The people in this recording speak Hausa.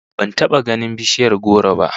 Ban taba ganin bishiyar goro ba